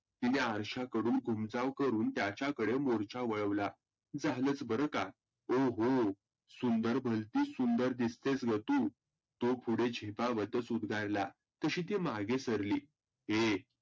तिने अरश्याकडून कुंचाव करुण त्याच्याकडे मोर्चा वळवला. झालच बरं का? सुंदर भलतीच सुंदर दिसतेस ग तु. तो पुढे झेपावतच उद्गारला. तशी ती मागे सरली ए.